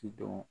Ci dɔn